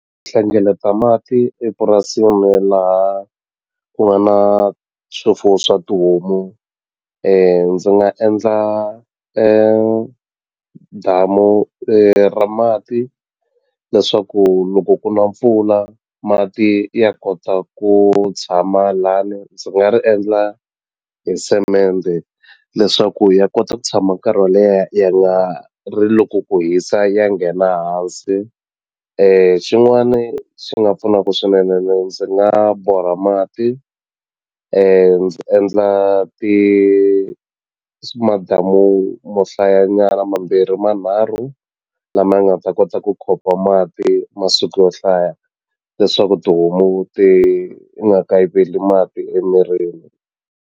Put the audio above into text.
Hlengeleta mati epurasini laha ku nga na swifuwo swa tihomu ndzi nga endla damu ra mati leswaku loko ku na mpfula mati ya kota ku tshama lani ndzi nga ri endla hi semende leswaku ya kota ku tshama nkarhi wo leha ya nga ri loko ku hisa ya nghena hansi xin'wani xi nga pfunaku swinene ne ndzi nga borha mati ndzi endla madamu mo hlaya nyana mambirhi manharhu lama ya nga ta kota ku mati masiku yo hlaya leswaku tihomu ti nga kayiveli mati emirini.